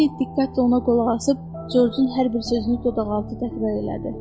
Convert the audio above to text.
Lenny diqqətlə ona qulaq asıb Corcun hər bir sözünü dodaqaltı təkrar elədi.